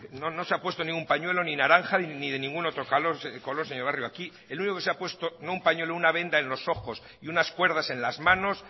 no no se ha puesto ningún pañuelo ni naranja ni de ningún otro jalón color señor barrio aquí el único que se ha puesto no un pañuelo una venda en los ojos y unas cuerdas en las manos